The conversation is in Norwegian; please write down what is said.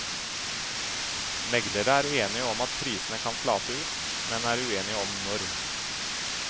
Meglere er enige om at prisene kan flate ut, men er uenige om når.